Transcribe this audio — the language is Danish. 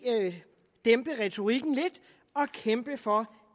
dæmpe retorikken lidt og kæmpe for